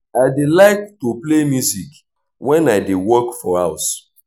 i dey like to play music wen i dey work for house